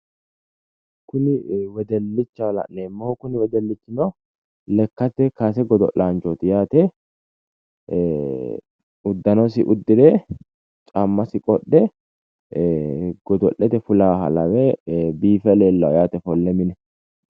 Kuni wedellichaho la'neemmohu kuni wedellichino lekkate kaase godo'laanchooti yaate ee uddanosi uddire caammasi qodhe ee godo'lete fulaaha lawe ee biife leellawo yaate ofolle mine